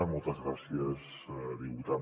moltes gràcies diputat